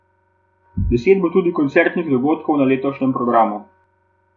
Deset bo tudi koncertnih dogodkov na letošnjem programu.